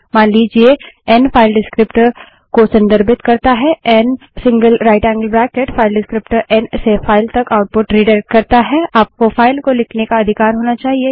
मान लीजिए N file descriptor को संदर्भित करता है ngtनरेशन N single right angled bracket file descriptor N से फाइल तक आउटपुट रिडाइरेक्ट करता है आपको फाइल को लिखने का अधिकार होना चाहिए